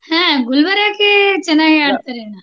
ಹ ಗುಲ್ಬರ್ಗಾಕೆ ಚೆನ್ನಾಗಿ ಆಡ್ತಾರೆ.